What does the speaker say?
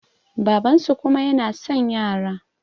babansu kuma yana son yara